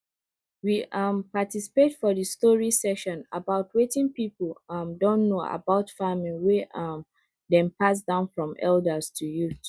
we um participate for the story session about watin people um don know about farming wey um dem pass down form elders to youth